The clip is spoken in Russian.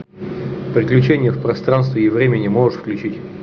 приключения в пространстве и времени можешь включить